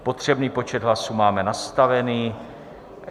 Potřebný počet hlasů máme nastavený.